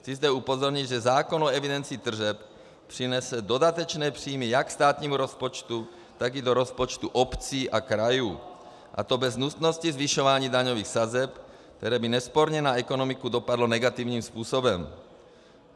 Chci zde upozornit, že zákon o evidenci tržeb přinese dodatečné příjmy jak státnímu rozpočtu, tak i do rozpočtu obcí a krajů, a to bez nutnosti zvyšování daňových sazeb, které by nesporně na ekonomiku dopadlo negativním způsobem.